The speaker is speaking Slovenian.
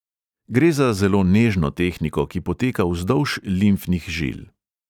Gre za zelo nežno tehniko, ki poteka vzdolž limfnih žil.